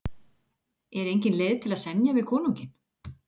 Er engin leið að semja við konunginn?